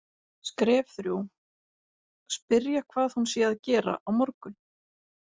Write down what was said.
Skref þrjú: Spyrja hvað hún sé að gera á morgun.